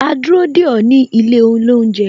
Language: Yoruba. A dúró dè ó ní ilé olounje